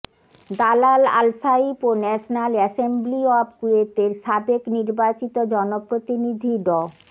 দালাল Al Saif ও national assembly of কুয়েতের সাবেক নির্বাচিত জনপ্রতিনিধি ড